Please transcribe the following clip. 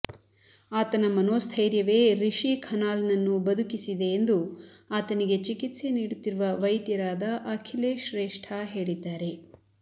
ಆತನ ಮನೋಸ್ಥೈರ್ಯವೇ ರಿಶಿ ಖನಾಲ್ನನ್ನು ಬದುಕಿಸಿದೆ ಎಂದು ಆತನಿಗೆ ಚಿಕಿತ್ಸೆ ನೀಡುತ್ತಿರುವ ವೈದ್ಯರಾದ ಅಖಿಲೇಶ್ ಶ್ರೇಷ್ಠಾ ಹೇಳಿದ್ದಾರೆ